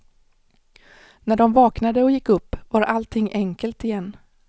När de vaknade och gick upp var allting enkelt igen.